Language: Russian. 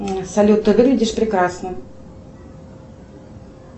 салют ты выглядишь прекрасно